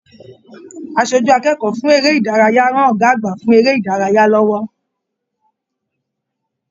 Aṣojú akẹ́kọ̀ọ́ fún eré ìdárayá rán Ọgá àgbà fún eré ìdárayá lọwọ.